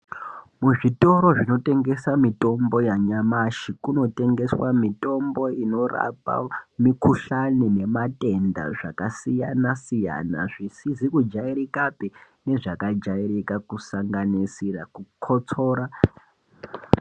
Muzvitoro zvinotengesa mitombo yanyamashi, kunotengeswa mitombo inorapa mikhuhlane nematenda zvakasiyana siyana, zvisizikujayirikape, nezvakajayirika, kusanganisira kukhotsora.